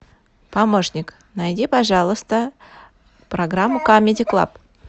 помошник найди пожалуйста программу камеди клаб